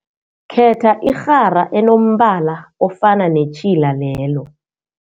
Khetha irhara enombala ofana netjhila lelo.